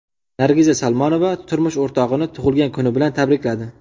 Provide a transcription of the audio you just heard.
Nargiza Salmonova turmush o‘rtog‘ini tug‘ilgan kuni bilan tabrikladi.